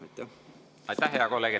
Aitäh, hea kolleeg!